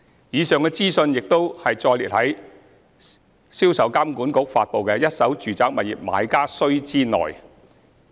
以上資訊亦已載列在銷售監管局發布的《一手住宅物業買家須知》內。